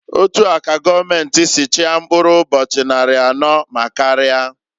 Otua ka goomenti si chia mkpụrụ ụbọchị nnarị anọọ ma karia.